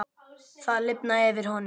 Það lifnaði yfir honum.